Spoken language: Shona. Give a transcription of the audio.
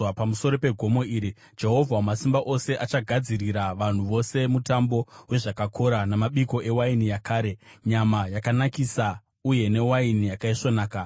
Pamusoro pegomo iri, Jehovha Wamasimba Ose achagadzirira vanhu vose mutambo wezvakakora, namabiko ewaini yakare, nyama yakanakisa uye newaini yakaisvonaka.